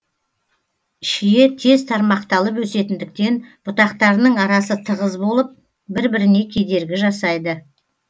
шие тез тармақталып өсетіндіктен бұтақтарының арасы тығыз болып бір біріне кедергі жасайды